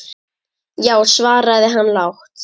Já, svaraði hann lágt.